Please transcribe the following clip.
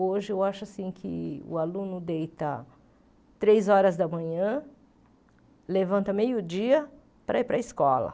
Hoje, eu acho assim que o aluno deita três horas da manhã, levanta meio dia para ir para a escola.